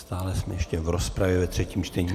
Stále jsme ještě v rozpravě ve třetím čtení.